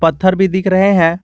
पत्थर भी दिख रहे हैं।